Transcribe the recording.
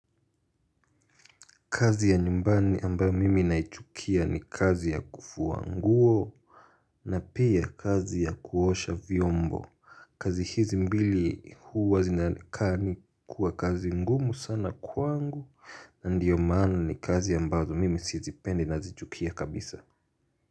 Kazi ya nyumbani ambayo mimi naichukia ni kazi ya kufua nguo na pia kazi ya kuosha vyombo kazi hizi mbili huwa zinakaa ni kuwa kazi ngumu sana kwangu Ndiyo maana ni kazi ambayo mimi sizipende nazichukia kabisa.